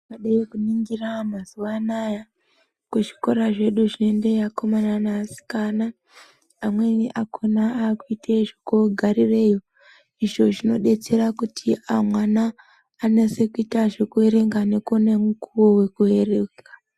Vakadai kuningira mazuva anaya kuzvikora zvedu zvinoenda vakomana nevasikana. Amweni akona akuite kogarireyo, izvo zvinobetsera kuti amwana anase kuita zvekuerenga nekuona mukovo vekuverenga.